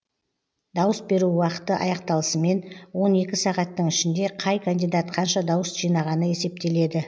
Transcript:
дауыс беру уақыты аяқталысымен он екі сағаттың ішінде қай кандидат қанша дауыс жинағаны есептеледі